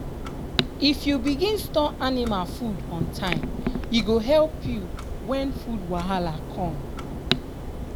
if you begin store anima food on time e go help you wen food wahala com.